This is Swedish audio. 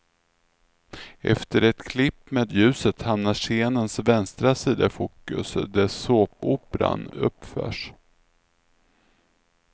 Efter ett klipp med ljuset hamnar scenens vänstra sida i fokus, där såpoperan uppförs.